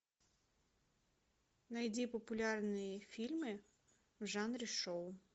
найди популярные фильмы в жанре шоу